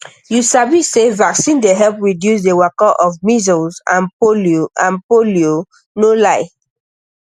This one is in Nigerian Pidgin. you sabi say vaccine dey help reduce the waka of measles and polio and polio no lie